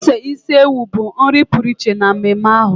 ose isi ewu bụ nri pụrụ iche na mmemme ahụ.